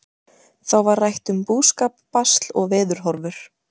Þá var rætt um búskap, basl og veðurhorfur.